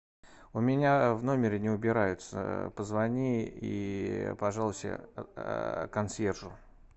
у меня в номере не убираются позвони и пожалуйся консьержу